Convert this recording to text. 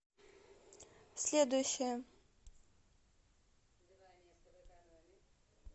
следующая